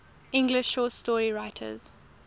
english short story writers